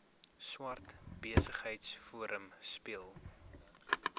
swart besigheidsforum speel